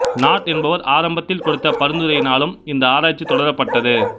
not என்பவர் ஆரம்பத்தில் கொடுத்த பரிந்துரையினாலும் இந்த ஆராய்ச்சி தொடரப்பட்டது